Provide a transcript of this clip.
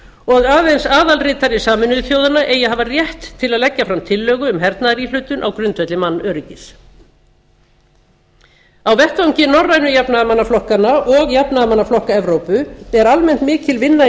og aðeins aðalritari sameinuðu þjóðanna eigi að hafa rétt til að leggja fram tillögu um hernaðaríhlutun á grundvelli mannöryggis á vettvangi norrænu jafnaðarmannaflokkanna og jafnaðarmannaflokka evrópu er almenn mikil vinna í